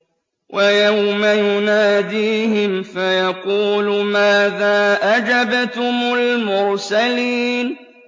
وَيَوْمَ يُنَادِيهِمْ فَيَقُولُ مَاذَا أَجَبْتُمُ الْمُرْسَلِينَ